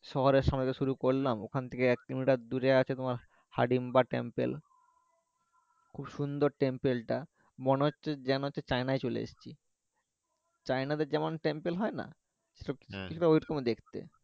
শহরের সময় যে শুরু করলাম ওখান থেকে এক কিলোমিটার দূরে আছে তোমার হিড়িম্বা টেম্পেল খুব সুন্দর টা মনে হচ্ছে যেন হচ্ছে চায়নাই চলে এসেছি চায়নাদের যেমন টেম্পেল হয় না কিছুটা ঐরকমই দেখতে